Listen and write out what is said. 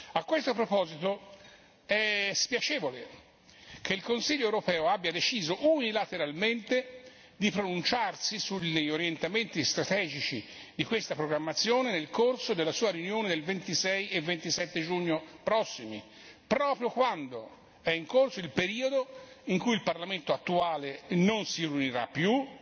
A questo proposito, è spiacevole che il Consiglio europeo abbia deciso unilateralmente di pronunciarsi sugli orientamenti strategici di questa programmazione nel corso della sua riunione del 26 e 27 giugno prossimi, proprio quando è in corso il periodo in cui il Parlamento attuale non si riunirà più